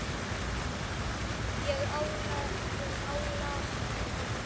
Ég álasa honum ekki.